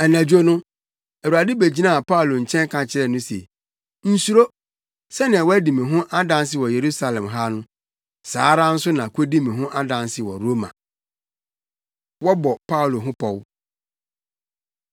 Anadwo no, Awurade begyinaa Paulo nkyɛn ka kyerɛɛ no se, “Nsuro! Sɛnea woadi me ho adanse wɔ Yerusalem ha no, saa ara nso na kodi me ho adanse wɔ Roma.” Wɔbɔ Paulo Ho Pɔw